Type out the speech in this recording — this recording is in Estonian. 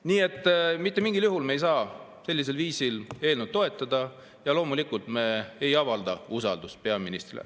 Nii et mitte mingil juhul me ei saa sellist eelnõu toetada ja loomulikult me ei avalda usaldust peaministrile.